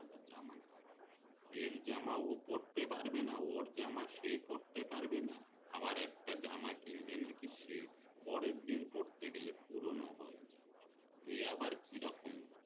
এর জামা ও পড়তে পারবে না ওর জামা সে পড়তে না আবার একটা জামা কিনলে নাকি পরের দিন পড়তে গেলে পুরোনো হয়ে যাই এই আবার কি রকম